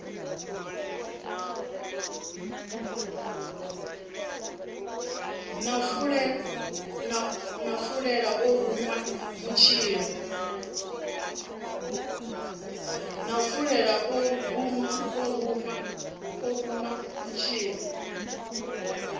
na fulela o ruṅwa mutshila